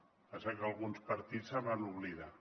el que passa que alguns partits se’n van oblidar